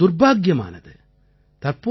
இது மிகவும் துர்பாக்கியமானது